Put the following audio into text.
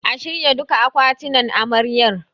A shirya duka akwatinan Amaryar.